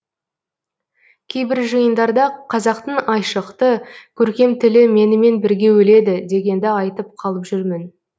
кейбір жиындарда қазақтың айшықты көркем тілі менімен бірге өледі дегенді айтып қалып жүрмін